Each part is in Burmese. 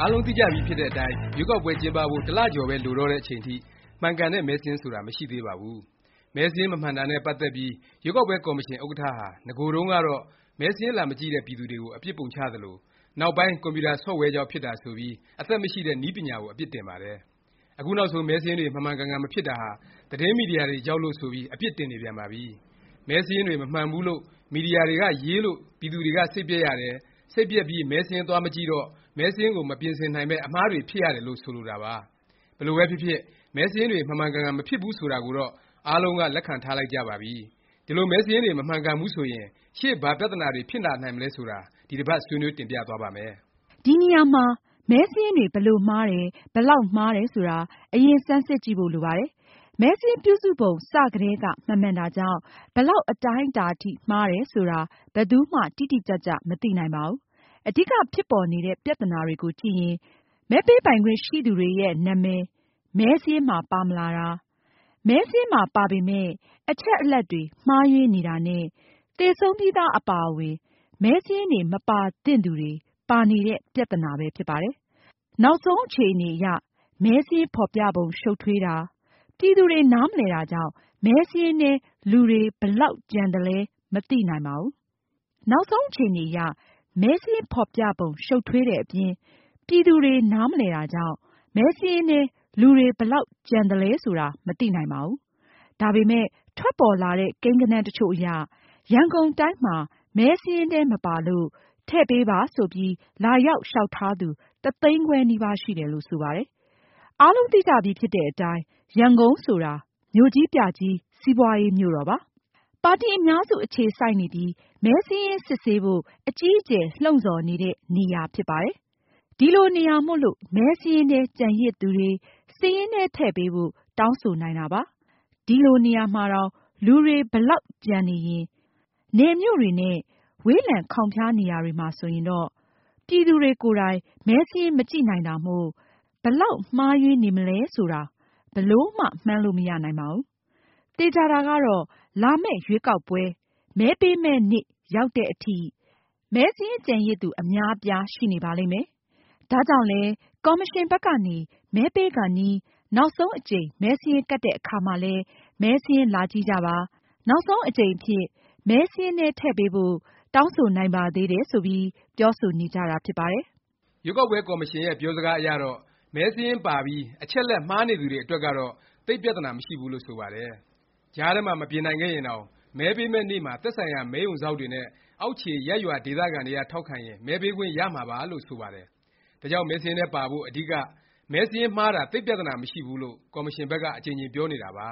အားလုံးသိကြပြီဖြစ်တဲ့အတိုင်း ရွေးကောက်ပွဲ ကျင်းပဖို့ တစ်လ ကျော်ပဲ လိုတော့တဲ့ အချိန်ထိ မှန်ကန်တဲ့ မဲစာရင်း ဆိုတာ မရှိသေးပါဘူး။ မဲစာရင်း မမှန်တာနဲ့ ပတ်သက်ပြီး ရွေးကောက်ပွဲ ကော်မရှင် ဥက္ကဌဟာ နဂိုတုန်းကတော့ မဲစာရင်း လာမကြည့်တဲ့ ပြည်သူတွေကို အပြစ်ပုံချသလို၊ နောက်ပိုင်း ကွန်ပျူတာ ဆော့ဖ်ဝဲကြောင့် ဖြစ်တာဆိုပြီး အသက်မရှိတဲ့ နည်းပညာကို အပြစ်တင်ပါတယ်။ အခုနောက်ဆုံး မဲစာရင်းတွေ မှန်မှန်ကန်ကန် မဖြစ်တာဟာ သတင်းမီဒီယာတွေကြောင့်လို့ ဆိုပြီး အပြစ်တင်နေပြန်ပါပြီ။ မဲစာရင်းတွေ မမှန်ဘူးလို့ မီဒီယာတွေက ရေးလို့၊ ပြည်သူတွေ စိတ်ပျက်ရတယ်၊ စိတ်ပျက်ပြီး မဲစာရင်း သွားမကြည့်တော့ မဲစာရင်းကို မပြင်ဆင်နိုင်ပဲ အမှားတွေ ဖြစ်ရတယ်လို့ ဆိုတာပါ။ ဘယ်လိုပဲဖြစ်ဖြစ် မဲစာရင်းတွေ မှန်မှန်ကန်ကန် မဖြစ်ဘူး ဆိုတာကိုတော့ အားလုံးက လက်ခံထားလိုက်ကြပါပြီ။ ဒီလို မဲစာရင်းတွေ မမှန်ကန်ဘူးဆိုရင် ရှေ့ဘာပြသနာတွေ ဖြစ်လာနိုင်မလဲ ဆိုတာ ဒီတစ်ပါတ် ဆွေးနွေးတင်ပြသွားပါ့မယ်။ ဒီနေရာမှာ မဲစာရင်းတွေ ဘယ်လို မှားတယ်၊ ဘယ်လောက်မှားတယ် ဆိုတာ အရင် ဆန်းစစ်ကြည့်ဖို့ လိုပါတယ်။ မဲစာရင်းပြုစုပုံ စကတည်းက မမှန်တာကြောင့် ဘယ်လောက် အတိုင်းအတာအထိ မှားတယ် ဆိုတာ ဘယ်သူမှ တိတိကျကျ မသိနိုင်ပါဘူး။ အဓိက ဖြစ်ပေါ်နေတဲ့ ပြသနာတွေကို ကြည့်ရင် မဲပေးပိုင်ခွင့် ရှိသူတွေရဲ့ နာမည် မဲစာရင်းမှာ ပါမလာတာ၊ မဲစာရင်းမှာ ပါပေမယ့် အချက်အလက်တွေ မှားယွင်းနေတာ နဲ့ သေဆုံးပြီးသား အပါအဝင် မဲစာရင်းထဲ မပါသင့်သူတွေ ပါနေတဲ့ ပြသနာပဲ ဖြစ်ပါတယ်။ နောက်ဆုံး အခြေအနေအရ မဲစာရင်း ဖော်ပြပုံ ရှုတ်ထွေး၊ ပြည်သူတွေ နားမလည်တာကြောင့် မဲစာရင်းထဲ လူတွေ ဘယ်လောက် ကျန်သွားသလဲ မသိနိုင်ပါဘူး။ ဒါပေမယ့် ထွက်ပေါ်လာတဲ့ ကိန်းဂဏန်း တစ်ချို့အရ ရန်ကုန်တိုင်းမှာ မဲစာရင်းမှာ မပါလို့ ထည့်ပေးပါ ဆိုပြီး လာရောက် လျောက်ထားသူ တစ်သိန်းခွဲ နီးပါး ရှိတယ်လို့ ဆိုပါတယ်။ အားလုံးသိကြပြီးဖြစ်တဲ့အတိုင်း ရန်ကုန်ဆိုတာ မြို့ကြီးပြကြီး စီးပွားရေး မြို့တော်ပါ။ ပါတီ အများစု အခြေစိုက်နေပြီး မဲစာရင်း စစ်ဆေးဖို့ အကြီးအကျယ် လှုံ့ဆော်နေတဲ့ နေရာဖြစ်ပါတယ်။ ဒီလိုနေရာမို့လို့ မဲစာရင်းထဲ ကျန်ရစ်သူတွေ စာရင်းထဲ ထည့်ပေးဖို့ တောင်းဆိုနိုင်တာပါ။ ဒီလိုနေရာမှာတောင် လူတွေ ဒီလောက် ကျန်နေရင် နယ်မြို့တွေနဲ့ ဝေးလံ ခေါင်ဖျား နေရာတွေမှာ ဆိုရင်တော့ ပြည်သူတွေကိုယ်တိုင် မဲစာရင်း မကြည့်နိုင်တာမို့ ဘယ်လောက် မှားယွင်းနေမလဲ ဘယ်လိုမှ မှန်းလို့ မရနိုင်ပါဘူး။ သေခြာတာကတော့ လာမယ့် ရွေးကောက်ပွဲ မဲပေးမယ့်နေ့ ရောက်သည်အထိ မဲစာရင်း ကျန်ရစ်သူ အများအပြား ရှိနေပါလိမ့်မယ်။ ဒါကြောင့်လည်း ကော်မရှင်ဘက်ကနေ မဲပေးကာနီး နောက်ဆုံးအကြိမ် မဲစာရင်းကပ်တဲ့အခါမှာလည်း မဲစာရင်း လာကြည့်ကြပါ၊ နောက်ဆုံးအကြိမ်အဖြစ် မဲစာရင်းထဲ ထည့်ပေးဖို့ တောင်းဆိုနိုင်ပါသေးတယ် ဆိုပြီး ပြောဆိုနေကြတာ ဖြစ်ပါတယ်။ ရွေးကောက်ပွဲ ကော်မရှင်ရဲ့ ပြောစကားအရတော့ မဲစာရင်းပါပြီး အချက်အလက် မှားနေသူတွေ အတွက်ကတော့ သိပ်ပြသနာ မရှိဘူးလို့ ဆိုပါတယ်။ ကြားထဲမှာ မပြင်နိုင်ခဲ့ရင်တောင် မဲပေးမယ့်နေ့မှာ သက်ဆိုင်ရာ မဲရုံစောင့်တွေနဲ့ အောက်ခြေ ရပ်ရွာဒေသခံတွေက ထောက်ခံရင် မဲပေးခွင့် ရမှာပါလု့ိ ဆိုပါတယ်။ ဒါကြောင့် မဲစာရင်းထဲပါဖို့ အဓိက မဲစာရင်းမှားတာ သိပ်ပြသနာ မရှိဘူးလို့ ကော်မရှင်ဘက်က အကြိမ်ကြိမ်ပြောနေတာပါ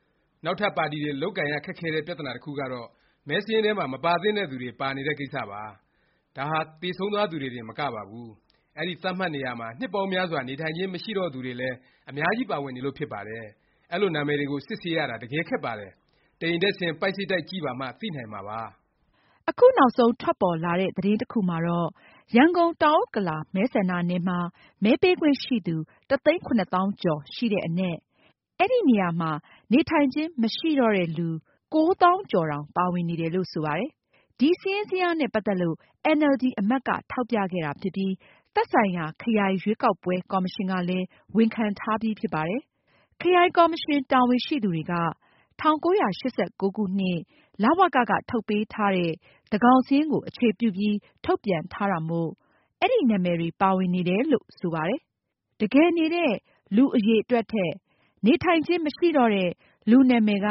။ နောက်ထပ် ပါတီတွေ လုပ်ကိုင်ရ ခက်ခဲတဲ့ ပြသနာ တစ်ခုကတော့ မဲစာရင်းထဲမှာ မပါသင့်တဲ့သူတွေ ပါနေတဲ့ ကိစ္စပါ။ ဒါဟာ သေဆုံးသွားသူတွေတင်မကပါဘူး။ အဲဒီ သတ်မှတ်နေရာမှာ နှစ်ပေါင်းများစွာ နေထိုင်ခြင်း မရှိတော့သူတွေလည်း အများကြီး ပါဝင်နေလို့ ဖြစ်ပါတယ်။ အဲလို နာမည်တွေကို စစ်ဆေးရတာ တကယ် ခက်ပါတယ်။ တစ်အိမ်တက်ဆင်း ပိုက်စိပ်တိုက် ကြည့်ပါမှ သိနိုင်မှာပါ။ အခုနောက်ဆုံး ထွက်ပေါ်လာတဲ့ သတင်းတစ်ခုမှာတော့ ရန်ကုန် တောင်ဥက္ကလာ မဲဆန္ဒနယ်မှာ မဲပေးခွင့်ရှိသူ တစ်သိန်းခုနှစ်သောင်းကျော် ရှိတဲ့အနက် အဲဒီ နေရာမှာ နေထိုင်ခြင်း မရှိတော့တဲ့လူ ကိုးသောင်းကျော်တောင် ပါဝင်နေတယ်လို့ ဆိုပါတယ်။ ဒီ စာရင်းဇယားနဲ့ ပတ်သက်လို့ အင်န်အယ်လ်ဒီ အမတ်က ထောက်ပြခဲ့တာဖြစ်ပြီး သက်ဆိုင်ရာ ခရိုင်ရွေးကောက်ပွဲ ကော်မရှင်ကလည်း ဝန်ခံထားပြီးဖြစ်ပါတယ်။ ခရိုင်ကော်မရှင် တာဝန်ရှိသူတွေက ၁၉၈၉ ခုနှစ် လဝက က ထုတ်ပေးထားတဲ့ သန်းခေါင်စာရင်းကို အခြေပြုပြီး ထုတ်ပြန်ထားတာမို့ အဲဒီနာမည်တွေ ပါဝင်နေတယ်လို့ ဆိုပါတယ်။ တကယ်နေတဲ့ လူ အရည်အတွက်ထက် နေထိုင်ခြင်း မရှိတော့တဲ့ လူနာမည်က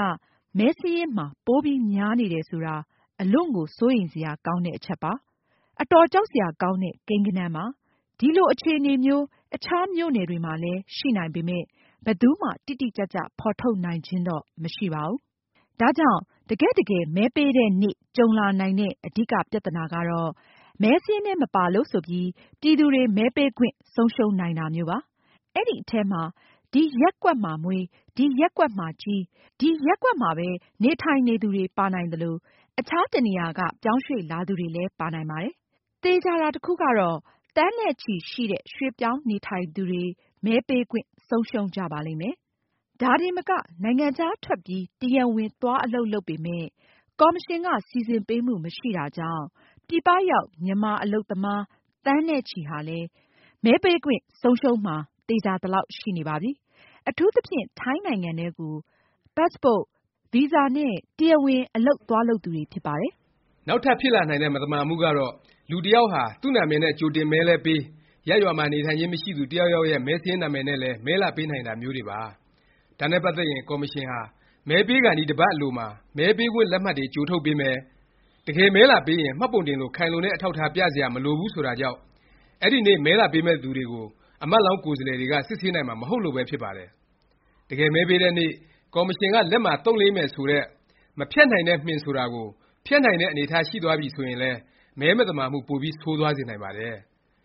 မဲစာရင်းမှာ ပိုများနေတယ် ဆိုတာ အလွန့်ကို စိုးရိမ်စရာကောင်းတဲ့ အချက်ပါ။ အတော် ကြောက်စရာ ကောင်းတဲ့ ကိန်းဂဏန်းပါ။ ဒီလို အခြေအနေမျိုး အခြား မြို့နယ်တွေမှာလည်း ရှိနိုင်ပေမယ့် ဘယ်သူမှ တိတိကျကျ ဖော်ထုတ်နိုင်ခြင်းတော့ မရှိပါဘူး။ ဒါကြောင့် တကယ့်တကယ် မဲပေးတဲ့နေ့ ကြုံလာနိုင်တဲ့ အဓိက ပြသနာကတော့ မဲစာရင်းထဲ မပါလို့ ဆိုပြီး ပြည်သူတွေ မဲပေးခွင့် ဆုံးရှုံးနိုင်တာမျိုးပါ။ အဲဒီအထဲမှာ ဒီရပ်ကွက်မှာမွေး၊ ဒီရပ်ကွက်မှာကြီး၊ ဒီရပ်ကွက်မှာပဲ နေထိုင်နေသူတွေ ပါနိုင်သလို၊ အခြားတစ်နေရာက ပြောင်းရွှေ့လာသူတွေလည်း ပါနိုင်ပါတယ်။ သေခြာတာ တစ်ခုကတော့ သန်းနဲ့ချီရှိတဲ့ ရွှေ့ပြောင်းနေထိုင်သူတွေ မဲပေးခွင့် ဆုံးရှုံးကြပါလိမ့်မယ်။ ဒါတင်မက နိုင်ငံခြားထွက်ပြီး တရားဝင် သွားအလုပ်လုပ်ပေမယ့် ကော်မရှင်က စီစဉ်ပေးမှု မရှိတာကြောင့် ပြည်ပရောက် မြန်မာ အလုပ်သမား သန်းနဲ့ချီဟာလည်း မဲပေးခွင့် ဆုံးရှုံးမှာ သေခြာသလောက် ရှိနေပါပြီ။ အထူးသဖြင့် ထိုင်းနိုင်ငံထဲကို ပတ်စ်ပို့၊ ဗီဇာနဲ့ တရားဝင် အလုပ်သွားလုပ်သူတွေဖြစ်ပါတယ်။ နောက်ထပ် ဖြစ်လာနိုင်တဲ့ မသမာမှုကတော့ လူတစ်ယောက်ဟာ သူ့နာမည်နဲ့ ကြိုတင်မဲလည်းပေး၊ ရပ်ရွာမှာ နေထိုင်ခြင်း မရှိသူ တစ်ယာက်ယောက်ရဲ့ မဲစာရင်း နာမည်နဲ့လည်း မဲလာပေးနိုင်တာမျိုးတွေပါ။ ဒါနဲ့ ပတ်သက်ရင် ကော်မရှင်ဟာ မဲပေးကာနီး တစ်ပါတ် အလိုမှာ မဲပေးခွင့်လက်မှတ်တွေ ကြိုထုတ်ပေးမယ်၊ တကယ်မဲလာပေးရင် မှတ်ပုံတင်လို ခိုင်လုံတဲ့ အထောက်အထား ပြစရာ မလိုဘူး ဆိုတာကြောင့် အဲဒီနေ့ မဲလာပေးမယ့်သူတွေကို အမတ်လောင်း ကိုယ်စားလှယ်တွေက စစ်ဆေးနိုင်မှာ မဟုတ်လို့ပဲ ဖြစ်ပါတယ်။ တကယ်မဲပေးတဲ့နေ့ ကော်မရှင်က လက်မှာ သုတ်လိမ်းမယ် ဆိုတဲ့ မဖျက်နိုင်တဲ့ မှင်ဆိုတာကို ဖျက်နိုင်တဲ့ အနေအထားရှိသွားပြီ ဆိုရင်လည်း မဲမသမာမှု ပိုပြီး ဆိုးသွားစေနိုင်ပါတယ်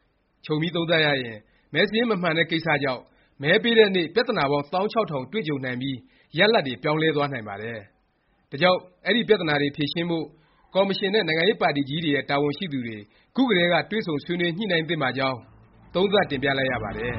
။ ခြုံပြီးသုံးသပ်ရရင် မဲစာရင်း မမှန်တဲ့ ကိစ္စကြောင့် မဲပေးတဲ့နေ့ ပြသနာပေါင်း သောင်းခြောက်ထောင် တွေ့ကြုံနိုင်ပြီး ရလာဒ်တွေ ပြောင်းလဲသွားနိုင်ပါတယ်။ ဒါကြောင့် အဲဒီပြသနာတွေ ဖြေရှင်းဖို့ ကော်မရှင်နဲ့ နိုင်ငံရေးပါတီကြီးတွေရဲ့ တာဝန်ရှိသူတွေ ခုကတည်းက တွေ့ဆုံဆွေးနွေး ညှိနှိုင်းသင့်ပါကြောင်း သုံးသပ်တင်ပြလိုက်ရပါတယ်။